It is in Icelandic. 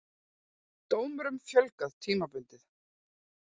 Dómurum fjölgað tímabundið